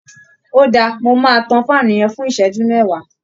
Óda, mo máa tàn fáànù yẹn fún iṣẹju méwàá.